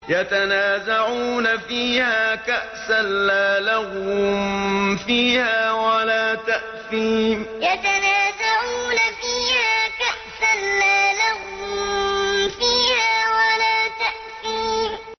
يَتَنَازَعُونَ فِيهَا كَأْسًا لَّا لَغْوٌ فِيهَا وَلَا تَأْثِيمٌ يَتَنَازَعُونَ فِيهَا كَأْسًا لَّا لَغْوٌ فِيهَا وَلَا تَأْثِيمٌ